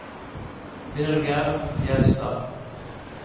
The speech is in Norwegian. Birger Fjellstad